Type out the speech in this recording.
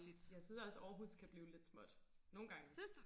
jeg synes også Aarhus kan blive lidt småt nogengange